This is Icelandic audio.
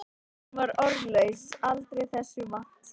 Hún var orðlaus aldrei þessu vant.